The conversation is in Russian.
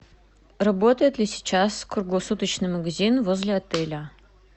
работает ли сейчас круглосуточный магазин возле отеля